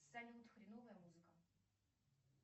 салют хреновая музыка